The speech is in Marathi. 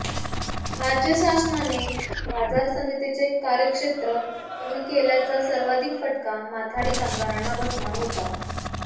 राज्य शासनाने बाजार समितीचे कार्यक्षेत्र कमी केल्याचा सर्वाधिक फटका माथाडी कामगारांना बसणार होता